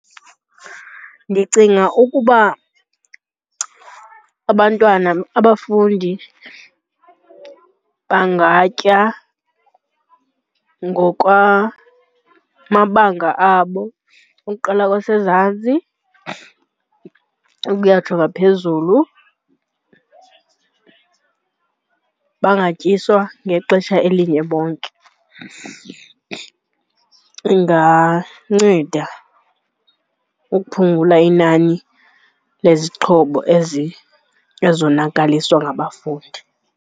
Ndicinga ukuba abantwana, abafundi bangatya ngokwamabanga abo ukuqala kwaseMzantsi ukuyatsho ngaphezulu, bangatyiswa ngexesha elinye bonke. Inganceda ukuphungula inani lezixhobo ezonakaliswa ngabafundi.